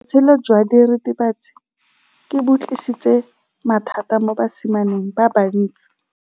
Botshelo jwa diritibatsi ke bo tlisitse mathata mo basimaneng ba bantsi.